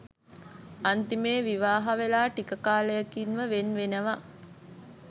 අන්තිමේ විවාහවෙලා ටික කාලයකින්ම වෙන්වෙනවා.